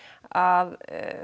að